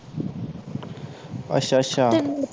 ਅਛ ਅੱਛਾ ਤੈਨੂੰ